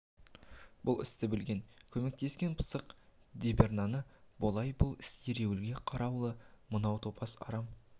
бұл істі білген көмектескен пысық дабернайы болатын бұл іс еруліге қарулы мынау топас арам